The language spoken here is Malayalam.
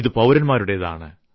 ഇത് പൌരന്മാരുടേതാണ്